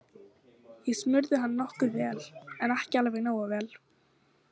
Ég smurði hann nokkuð vel en ekki alveg nógu vel.